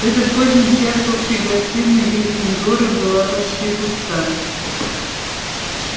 в этот поздний час общая гостиная гриффиндора была почти пуста